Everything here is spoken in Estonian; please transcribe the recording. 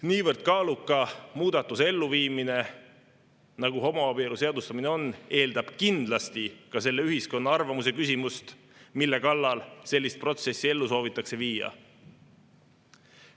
Niivõrd kaaluka muudatuse elluviimine, nagu homoabielu seadustamine on, eeldab kindlasti ka selle ühiskonna arvamuse küsimust, mille kallal sellist protsessi ellu soovitakse viia.